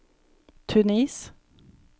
Tunis